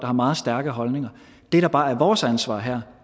har meget stærke holdninger det der bare er vores ansvar her